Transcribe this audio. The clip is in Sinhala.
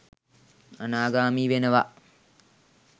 අනාගාමී වෙනවා